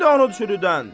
Kimdir onu çürüdən?